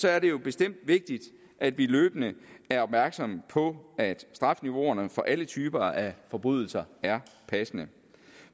er det jo bestemt vigtigt at vi løbende er opmærksomme på at strafniveauerne for alle typer af forbrydelser er passende